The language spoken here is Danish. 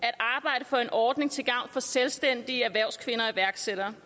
at arbejde for en ordning til gavn for selvstændige erhvervskvinder og iværksættere